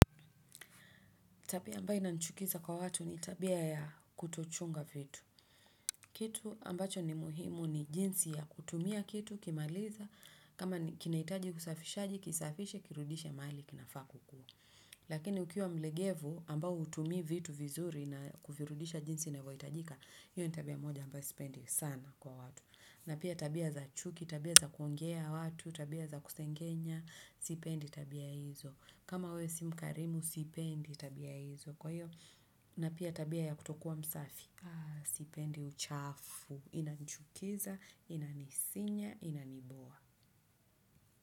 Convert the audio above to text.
Tabia ambayo inanichukiza kwa watu ni tabia ya kutochunga vitu. Kitu ambacho ni muhimu ni jinsi ya kutumia kitu ukimaliza kama kinahitaji usafishaji kisafishe kirudishe mahali kinafaa kukua. Lakini ukiwa mlegevu ambao hutumii vitu vizuri na kuvirudisha jinsi inavyohitajika, hiyo ni tabia moja ambao sipendi sana kwa watu. Na pia tabia za chuki, tabia za kuongea watu, tabia za kusengenya, sipendi tabia izo. Kama wewe si mkarimu, sipendi tabia hizo. Kwa hiyo na pia tabia ya kutokuwa msafi sipendi uchafu inanichukuza inasinya inaniboo.